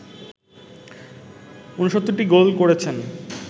৬৯টি goal করেছেন